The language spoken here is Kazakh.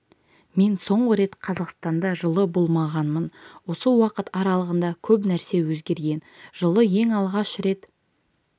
мен соңғы рет қазақстанда жылы болмағанмын осы уақыт аралығында көп нәрсе өзгерген жылы ең алғаш рет